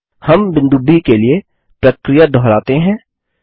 हम बिंदु ब के लिए प्रक्रिया दोहराते हैं